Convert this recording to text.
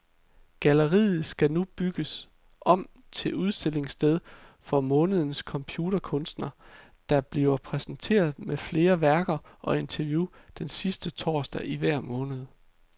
Galleriet skal nu bygges om til udstillingssted for månedens computerkunstner, der bliver præsenteret med flere værker og interview den sidste torsdag i hver måned.